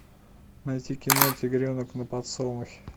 найти кино тигренок на подсолнухе